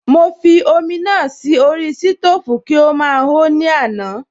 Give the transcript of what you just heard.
Mo fi omi náà sí orí sítòfù kí ó máa ho ní àná